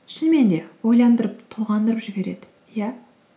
шынымен де ойландырып толғандырып жібереді иә